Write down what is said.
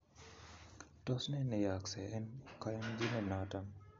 Tos ne neyooksei en koyonjinet noton